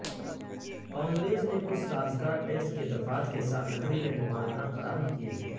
کانگریس نے کچھ سازگار ٹیکس کے دفعات کے ساتھ لکڑی لینڈ مالکان فراہم کیے ہیں